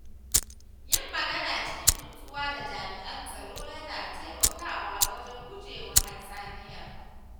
Yin magana cikin nutsuwa da jami’an tsaro yana taimakawa wajen gujewa hatsaniya.